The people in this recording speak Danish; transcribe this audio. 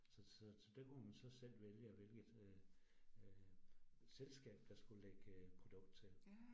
Så så så det kunne man så selv vælge, at hvilket øh øh selskab, der skulle lægge produkt til